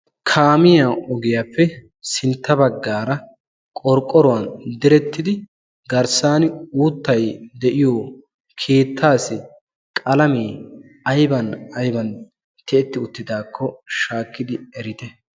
kaamiya ogiyaappe sintta baggaara qorqqoruwan direttidi garssan uuttay de'iyo keettaasi qalamee ayban ayban tiyetti uttidaakko shaakkidi erite